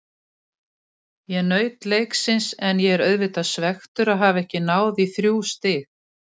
Ég naut leiksins en ég er auðvitað svekktur að hafa ekki náð í þrjú stig.